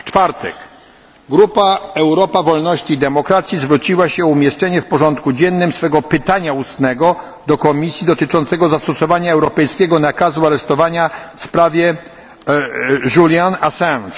Czwartek Grupa Europa Wolności i Demokracji zwróciła się o umieszczenie w porządku dziennym swego pytania ustnego do Komisji dotyczącego zastosowania europejskiego nakazu aresztowania w sprawie Juliana Assange.